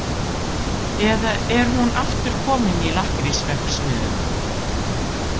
Eða er hún aftur komin í lakkrísverksmiðjuna?